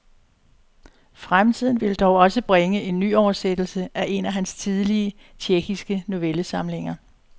Fremtiden vil dog også bringe en nyoversættelse af en af hans tidlige, tjekkiske novellesamlinger.